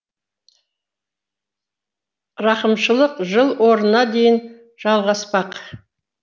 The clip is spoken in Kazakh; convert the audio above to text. рақымшылық жыл орнына дейін жалғаспақ